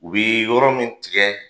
U bi yɔrɔ min tigɛ